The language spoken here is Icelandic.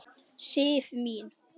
Sif mín!